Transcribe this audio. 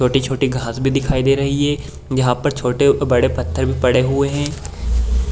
छोटी-छोटी घास भी दिखाई दे रही हैं यहाँ पर छोटे-बड़े पत्थर भी पड़े हुए हैं।